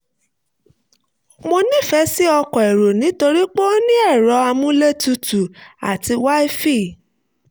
mo nīfè sí ọkọ̀ èrò nítorí pé ó ní ẹ̀rọ amúlétutù àti wi-fi